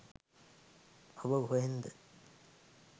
ඔබ කොහෙන්ද